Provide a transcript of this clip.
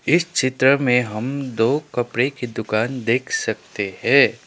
इस चित्र में हम दो कपड़े की दुकान देख सकते है।